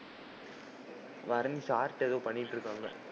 Bharani sir ட்ட ஏதோ பண்ணிட்டு இருக்காங்க.